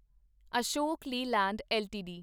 Ashok Leyland LTD